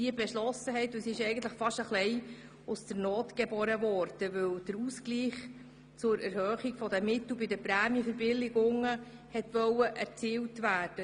Diese Kürzung wurde gewissermassen aus der Not geboren, weil man die Erhöhung der Mittel bei den Prämienverbilligungen ausgleichen wollte.